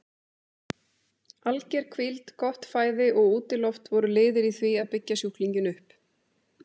Alger hvíld, gott fæði og útiloft voru liðir í því að byggja sjúklinginn upp.